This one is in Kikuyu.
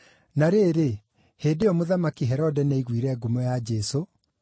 Na rĩrĩ, hĩndĩ ĩyo, Mũthamaki Herode nĩaiguire ngumo ya Jesũ,